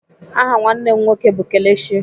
Aha nwanne m nwoke bụ Kelechi.